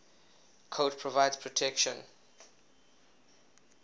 coat provides protection